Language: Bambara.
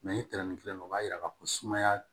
ni tɛrɛn kelen o b'a yira k'a fɔ ko sumaya